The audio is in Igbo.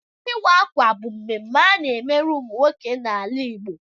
Ịwa ákwà bụ ememme ana-emere ụmụ nwoke n'ala Igbo.